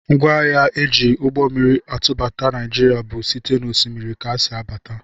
Ngwaahịa e ji ụgbọmmiri atụbata Naijiria bụ site n'Osimiri ka o si abata